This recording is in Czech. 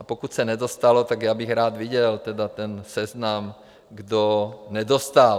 A pokud se nedostalo, tak já bych rád viděl tedy ten seznam, kdo nedostal.